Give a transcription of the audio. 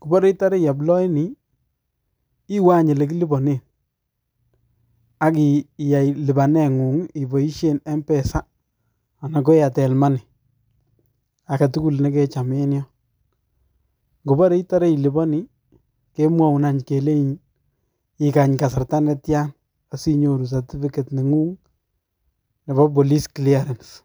Kopore itore ioploeni, iwe any ole kiliponen akiyai lipaneng'ung' ipoisien mpesa ana ko Airtel money. Akegetugul negecham en yon. Ngopore itore iliponi , kemwoun kelein igany kasarta netiai asinyoru certificate nengung nebo police clearance.